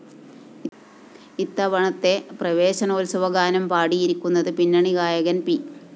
ഇത്തവണത്തെ പ്രവേശനോത്സവഗാനം പാടിയിരിക്കുന്നത് പിന്നണിഗായകന്‍ പി